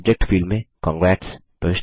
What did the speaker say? subject field में Congrats